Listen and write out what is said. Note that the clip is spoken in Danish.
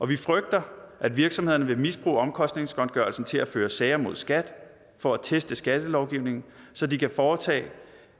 vi frygter at virksomhederne vil misbruge omkostningsgodtgørelsen til at føre sager mod skat for at teste skattelovgivningen så de kan foretage